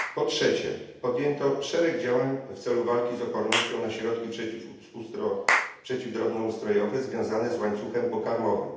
Po trzecie, podjęto szereg działań w celu walki z opornością na środki przeciw drobnoustrojowe związane z łańcuchem pokarmowym.